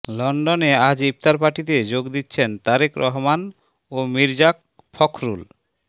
লন্ডনে আজ ইফতার পার্টিতে যোগ দিচ্ছেন তারেক রহমান ও মির্জা ফখরুল